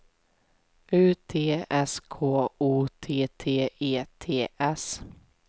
U T S K O T T E T S